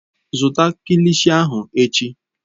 Zụta kilishi ahụ echi!